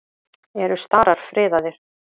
Eru starar friðaðir?